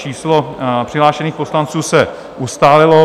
Číslo přihlášených poslanců se ustálilo.